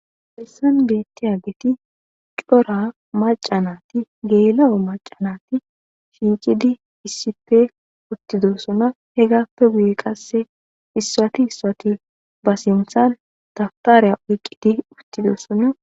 Hesan beettiyaggeti cora maca nati geela7o maca nati shiiqidi issipe uttidossona hegappe guye qasse issuwati issuwati ba sinthan daftariya oyqqidi uttidossona